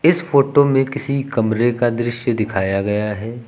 इस फोटो में किसी कमरे का दृश्य दिखाया गया है।